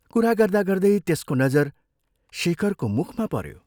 कुरा गर्दा गर्दै त्यसको नजर शेखरको मुखमा पऱ्यो